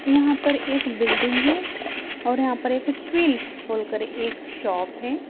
यहाँ पर एक बिल्डिंग है और यहाँ पर एक ट्विल्स बोलकर एक शॉप है ।